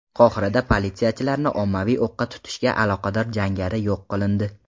Qohirada politsiyachilarni ommaviy o‘qqa tutishga aloqador jangari yo‘q qilindi.